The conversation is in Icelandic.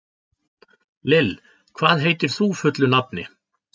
Lill, hvað heitir þú fullu nafni?